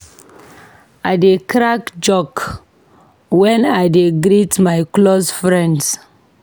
I dey crack joke wen I dey greet my close friends.